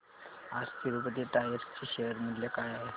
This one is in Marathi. आज तिरूपती टायर्स चे शेअर मूल्य काय आहे